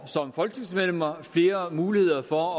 som folketingsmedlemmer får flere muligheder for